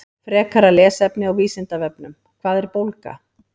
Frekara lesefni á Vísindavefnum: Hvað er bólga?